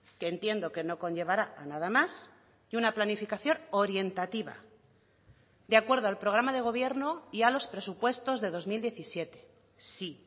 que entiendo que no conllevará a nada más y una planificación orientativa de acuerdo al programa de gobierno y a los presupuestos de dos mil diecisiete sí